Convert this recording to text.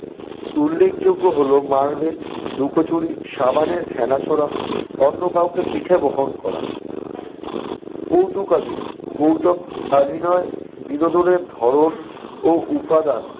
উল্লেখযোগ্য হলো marble লুকোচুরি, সাবানের ফেনা ছোড়া, অন্য কাউকে পিঠে বহন করা। কৌতুকাভিনয় - কৌতুকাভিনয় বিনোদনের ধরন ও উপাদান